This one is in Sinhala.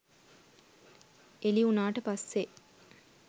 එළි උණාට පස්සේ